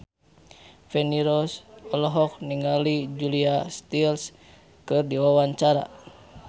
Feni Rose olohok ningali Julia Stiles keur diwawancara